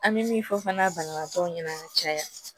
An bɛ min fɔ fana banabagatɔw ɲɛna caya